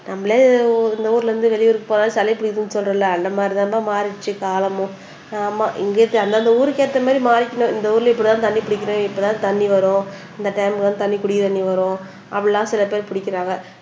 நம்மளே இந்த ஊர்ல இருந்து வெளியூருக்கு போனா சளி பிடிக்கும்னு சொல்றோம் இல்ல அந்த மாதிரி தான்பா மாறுச்சு காலமும் ஆமா இங்கேயே அந்தந்த ஊருக்கு ஏத்த மாதிரி மாறிக்கணும் இந்த ஊர்ல இப்படித்தான் தண்ணி பிடிக்கணும் இப்படித்தான் தண்ணி வரும் இந்த டைமுக்கு தான் தண்ணீர் குடி தண்ணீர் வரும் அப்படி எல்லாம் சில பேர் பிடிக்கிறாங்க